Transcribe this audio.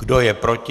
Kdo je proti?